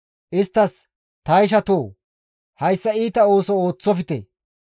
isttas, «Ta ishatoo! Hayssa iita ooso ooththofte.